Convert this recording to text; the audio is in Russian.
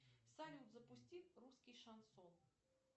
салют запусти русский шансон